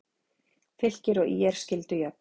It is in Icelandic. Fylkir og ÍR skildu jöfn